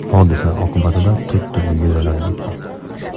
Hodisa oqibatida to‘rtta uyga zarar yetgan.